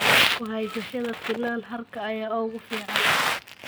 Ku haysashada finan harka ayaa ugu fiican.